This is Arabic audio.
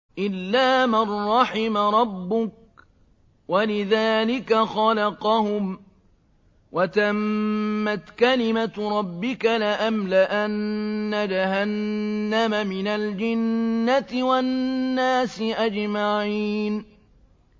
إِلَّا مَن رَّحِمَ رَبُّكَ ۚ وَلِذَٰلِكَ خَلَقَهُمْ ۗ وَتَمَّتْ كَلِمَةُ رَبِّكَ لَأَمْلَأَنَّ جَهَنَّمَ مِنَ الْجِنَّةِ وَالنَّاسِ أَجْمَعِينَ